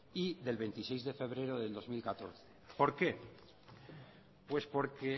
y del veintiséis de febrero del dos mil catorce por qué pues porque